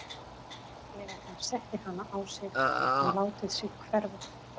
Þegar hann setti hana á sig gat hann látið sig hverfa.